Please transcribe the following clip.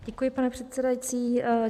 Děkuji, pane předsedající.